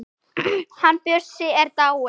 Hann Bjössi er dáinn.